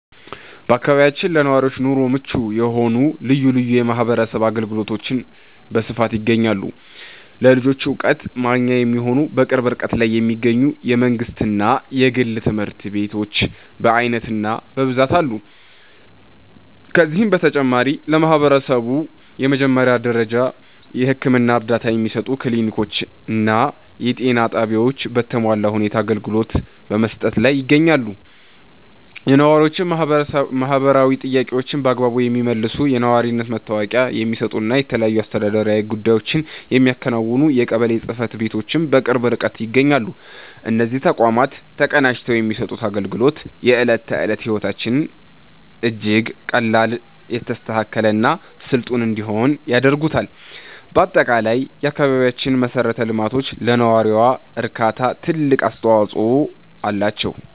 በአካባቢያችን ለነዋሪዎች ኑሮ ምቹ የሆኑ ልዩ ልዩ የማህበረሰብ አገልግሎቶች በስፋት ይገኛሉ። ለልጆች ዕውቀት ማግኛ የሚሆኑ፣ በቅርብ ርቀት ላይ የሚገኙ የመንግሥትና የግል ትምህርት ቤቶች በዓይነትና በብዛት አሉ። ከዚህም በተጨማሪ፣ ለማህበረሰቡ የመጀመሪያ ደረጃ የሕክምና እርዳታ የሚሰጡ ክሊኒኮችና የጤና ጣቢያዎች በተሟላ ሁኔታ አገልግሎት በመስጠት ላይ ይገኛሉ። የነዋሪዎችን ማህበራዊ ጥያቄዎች በአግባቡ የሚመልሱ፣ የነዋሪነት መታወቂያ የሚሰጡና የተለያዩ አስተዳደራዊ ጉዳዮችን የሚያከናውኑ የቀበሌ ጽሕፈት ቤቶችም በቅርብ ርቀት ይገኛሉ። እነዚህ ተቋማት ተቀናጅተው የሚሰጡት አገልግሎት፣ የዕለት ተዕለት ሕይወታችንን እጅግ ቀላል፣ የተስተካከለና ስልጡን እንዲሆን ያደርጉታል። በአጠቃላይ፣ የአካባቢያችን መሠረተ ልማቶች ለነዋሪው እርካታ ትልቅ አስተዋጽኦ አላቸው።